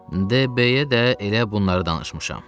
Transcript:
D. B-yə də elə bunları danışmışam.